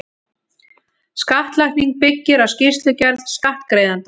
Skattlagning byggir á skýrslugerð skattgreiðandans.